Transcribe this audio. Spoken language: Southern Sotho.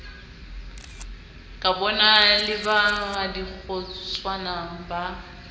kabona le ba dikgotswana ba